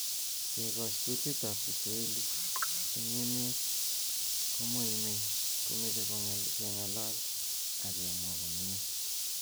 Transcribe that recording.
Kekoch kutitab kiswahili eng emet komoimei komoche kengalal ak kemwa komie